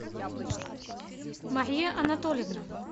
мария анатольевна